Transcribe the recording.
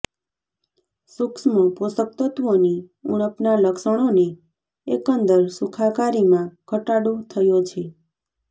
સૂક્ષ્મ પોષકતત્ત્વોની ઉણપના લક્ષણોને એકંદર સુખાકારીમાં ઘટાડો થયો છે